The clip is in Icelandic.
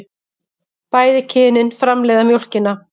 Bæði kynin framleiða mjólkina.